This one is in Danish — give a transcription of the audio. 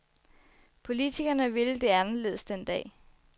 Politikerne ville det anderledes den dag.